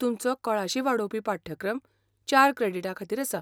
तुमचो कळाशी वाडोवपी पाठ्यक्रम चार क्रॅडिटांखातीर आसा.